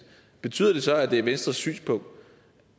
betyder det så at det er venstres synspunkt